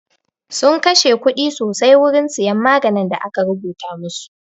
Sun kashe kuɗi sosai wurin siyan maganin da aka rubuta masu